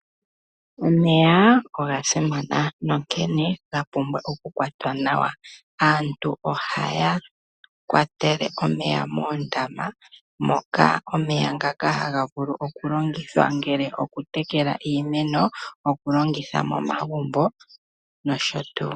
Omeya oga simana nonkene ga pumbwa okukwatwa nawa. Aantu ohaya kwatele omeya moondama moka omeya ngaka haga vulu okulongithwa ngele okutekela iimeno, okulongitha momagumbo nosho tuu.